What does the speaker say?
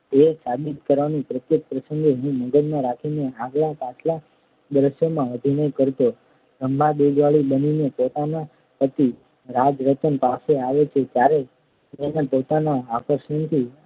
એ સાબિત કરવાનું પ્રત્યેક પ્રસંગે હું મગજમાં રાખીને આગલા પાછલા દૃશ્યોમાં અભિનય કરતો રંભા દૂધવાળી બનીને પોતાના પતિ રાજરતન પાસે આવે છે ત્યારે એને પોતાના આકર્ષણથી